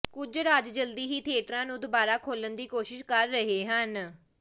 ਕੁਝ ਰਾਜ ਜਲਦੀ ਹੀ ਥਿਏਟਰਾਂ ਨੂੰ ਦੁਬਾਰਾ ਖੋਲ੍ਹਣ ਦੀ ਕੋਸ਼ਿਸ਼ ਕਰ ਰਹੇ ਹਨ